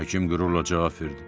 Həkim qürurla cavab verdi.